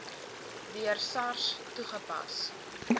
deur sars toegepas